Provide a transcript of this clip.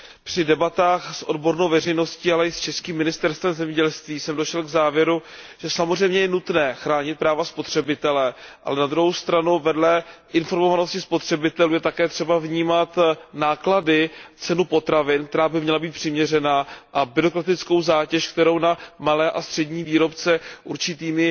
Při debatách s odbornou veřejností, ale i s českým Ministerstvem zemědělství jsem došel k závěru, že samozřejmě je nutné chránit práva spotřebitele, ale na druhou stranu vedle informovanosti spotřebitelů je také třeba vnímat náklady na cenu potravin, která by měla být přiměřená, a byrokratickou zátěž, kterou na malé a střední výrobce určitými